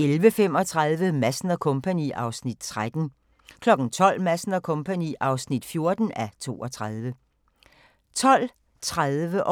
11:35: Madsen & Co. (13:32) 12:00: Madsen & Co. (14:32) 12:30: Den gode, den onde og den virk'li sjove